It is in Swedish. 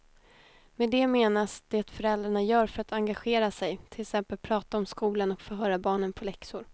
Med det menas det föräldrarna gör för att engagera sig, till exempel prata om skolan och förhöra barnen på läxor.